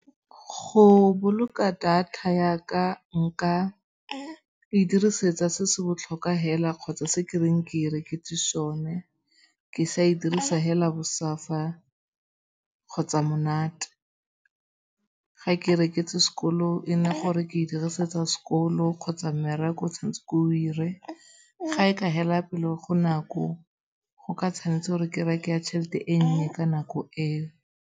Go boloka data ya ka, nka e dirisetsa se se botlhokwa fela kgotsa se ke reng ke e reketse sone. Ke sa e dirisa fela bosafa kgotsa monate. Ga ke e reketse sekolo e nna gore ke e dirisetsa sekolo kgotsa mmereko o tshwanetse gore ke o 'ire. Ga e ka fela pele go nako go ka tshwanetse gore ke reke ya tšhelete e nnye ka nako e.